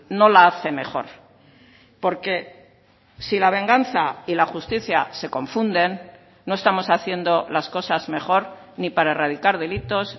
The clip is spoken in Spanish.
no la hace mejor porque si la venganza y la justicia se confunden no estamos haciendo las cosas mejor ni para erradicar delitos